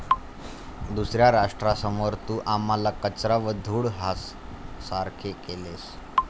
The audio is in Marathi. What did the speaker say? दुसऱ्या राष्ट्रांसमोर तू आम्हाला कचरा व धूळ ह्यासारखे केलेस.